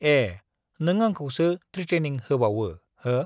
ए नों आंखौसो ट्रिटेनिं होबावो हो